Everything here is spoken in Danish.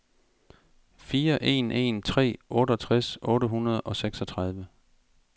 fire en en tre otteogtres otte hundrede og seksogtredive